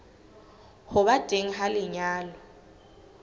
ho ba teng ha lenyalo